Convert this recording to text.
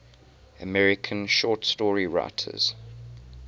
american short story writers